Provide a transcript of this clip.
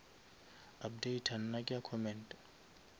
updata nna ke a commenta